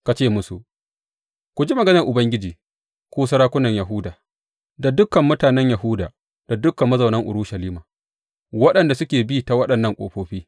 Ka ce musu, Ku ji maganar Ubangiji, ku sarakunan Yahuda, da dukan mutanen Yahuda da dukan mazaunan Urushalima waɗanda suke bi ta waɗannan ƙofofi.